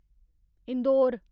Indore